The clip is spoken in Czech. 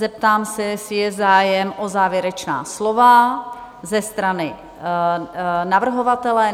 Zeptám se, jestli je zájem o závěrečná slova ze strany navrhovatele?